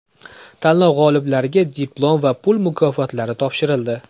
Tanlov g‘oliblariga diplom va pul mukofotlari topshirildi.